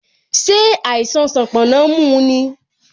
Ṣé àìsàn sanponna mu ni?